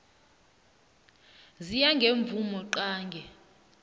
ziya ngemvumo qange